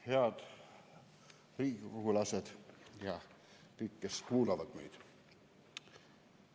Head riigikogulased ja kõik, kes meid kuulavad!